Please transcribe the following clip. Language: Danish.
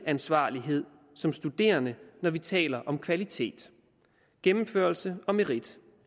ansvarlighed som studerende når vi taler om kvalitet gennemførelse og merit